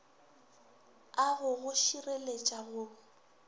a go go šireletša go